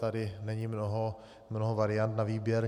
Tady není mnoho variant na výběr.